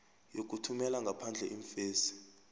yokuthumela ngaphandle iimfesi